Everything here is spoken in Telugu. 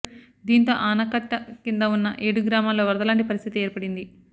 దీంతో ఆనకట్ట కింద ఉన్న ఏడు గ్రామాల్లో వరదలాంటి పరిస్థితి ఏర్పడింది